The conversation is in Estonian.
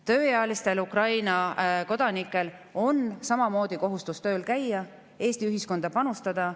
Tööealistel Ukraina kodanikel on samamoodi kohustus tööl käia, Eesti ühiskonda panustada.